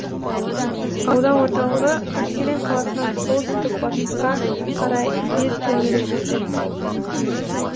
аудан орталығы қаскелең қаласынан солтүстік батысқа қарай бес километр жерде